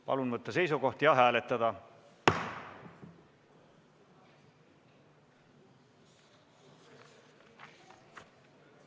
Palun võtta seisukoht ja hääletada!